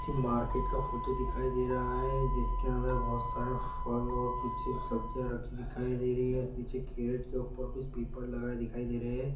Market का photo दिखाई दे रहा है जिसके अंदर बहुत सारे फल और कुछ एक सब्जियां रखी हुई दिखाई दे रही है पीछे केरेट के ऊपर कुछ पेपर लगा है दिखाई दे रहे है।